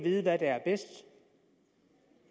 at vide hvad der er bedst